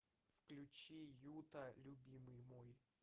включи юта любимый мой